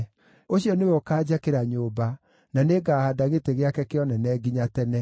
Ũcio nĩwe ũkaanjakĩra nyũmba, na nĩngahaanda gĩtĩ gĩake kĩa ũnene nginya tene.